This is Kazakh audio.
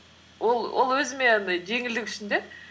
ол өзіме жеңілдік үшін де